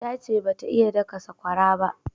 Ta ce ba ta iya daka sakwara ba